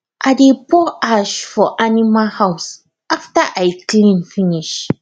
i dey pour ash for animal house after i clean finish